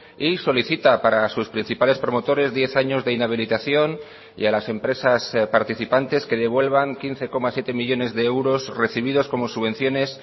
y solicita para sus principales promotores diez años de inhabilitación y a las empresas participantes que devuelvan quince coma siete millónes de euros recibidos como subvenciones